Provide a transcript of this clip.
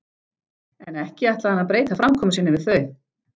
En ekki ætlaði hann að breyta framkomu sinni við þau.